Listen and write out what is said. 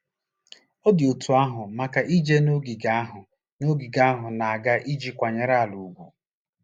Ọ dị otú ahụ maka ije n'ogige ahụ n'ogige ahụ a na-aga iji kwanyere ala ugwu.